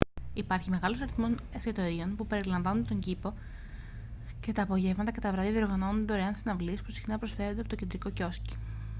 υπάρχει μεγάλος αριθμός εστιατορίων που περιβάλλουν τον κήπο και τα απογεύματα και τα βράδια διοργανώνονται δωρεάν συναυλίες που συχνά προσφέρονται από το κεντρικό κιόσκι